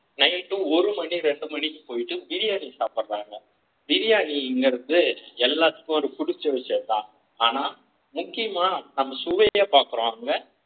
night ஒரு மணி இரண்டு மணிக்கு போயிட்டு பிரியாணி சாப்பிடுகிறார்கள் பிரியாணி என்பது எல்லாருக்கும் புடிச்ச விஷயம் தான் ஆனா முக்கியமா நம் சுவையை பாக்குறாங்க